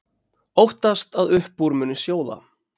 Óttast að upp úr muni sjóða